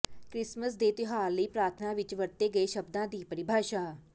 Christmas ਦੇ ਤਿਉਹਾਰ ਲਈ ਪ੍ਰਾਰਥਨਾ ਵਿਚ ਵਰਤੇ ਗਏ ਸ਼ਬਦਾਂ ਦੀ ਪਰਿਭਾਸ਼ਾ